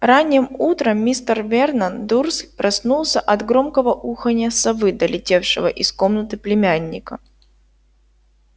ранним утром мистер вернон дурсль проснулся от громкого уханья совы долетевшего из комнаты племянника